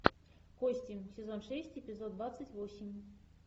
кости сезон шесть эпизод двадцать восемь